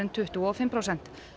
tuttugu og fimm prósent